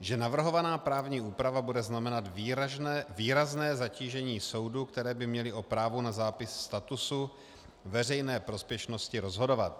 že navrhovaná právní úprava bude znamenat výrazné zatížení soudů, které by měly o právu na zápis statusu veřejné prospěšnosti rozhodovat.